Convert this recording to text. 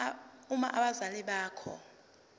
uma abazali bakho